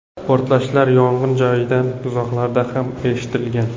Portlashlar yong‘in joyidan uzoqlarda ham eshitilgan.